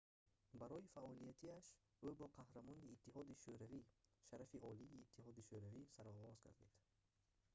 барои фаъолиятиаш ӯ бо қаҳрамони иттиҳоди шӯравӣ шарафи олии иттиҳоди шӯравӣ сарфароз гардид